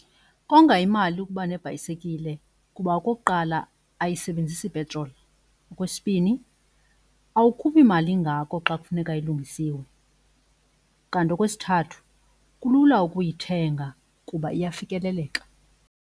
Konga imali ukuba nebhayisekile kuba okokuqala ayisebenzisi petroli. Okwesibini awukhuphi mali ingako xa kufuneka ilungisiwe. Kanti okwesithathu kulula ukuyithenga kuba iyafikeleleka.